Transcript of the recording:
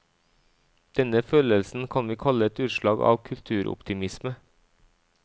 Denne følelsen kan vi kalle et utslag av kulturoptimisme.